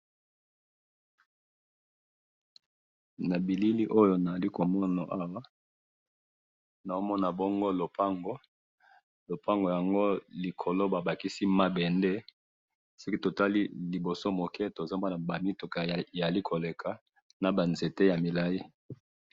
na bilili oyo nazali komona awa nazo mona bongo lopango, lopango yango likolo ba bakisi mabende soki totali liboso mukie tozali komoni ba mutuka ezali koleka naba nzete ya milayi